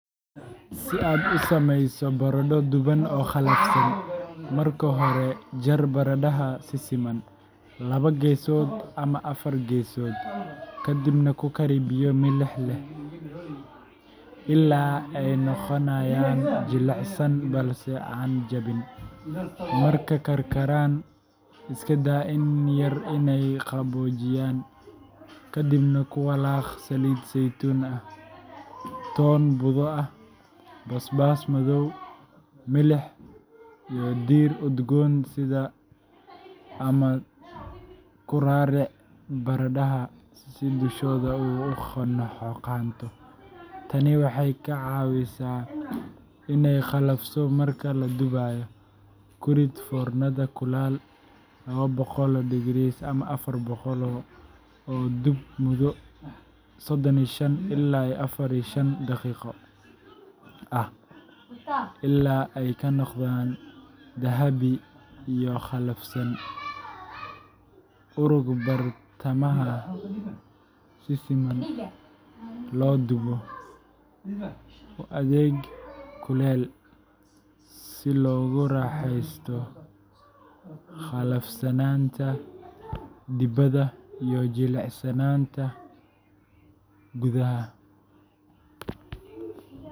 Si aad u sameyso baradho duban oo qallafsan, marka hore jar baradhada si siman laba-geesood ama afar-geesood, ka dibna ku kari biyo milix leh ilaa ay noqonayaan jilicsan balse aan jabin. Markay karkaraan, iska daa in yar inay qaboojiyaan, ka dibna ku walaaq saliid saytuun ah, toon budo ah, basbaas madow, milix, iyo dhir udgoon sida rosemary ama thyme. Ku raaric baradhada si dushoodu u xoqanto tani waxay ka caawisaa inay qallafso marka la dubayo. Ku rid foornada kulul ama oo dub muddo sodon iyo shan ila iyo afartan iyo shan daqiiqo ah ilaa ay ka noqdaan dahabi iyo qallafsan. U rog bartamaha si si siman loo dubo. U adeeg kulul si loogu raaxaysto qalafsanaanta dibadda iyo jilicsanaanta gudaha.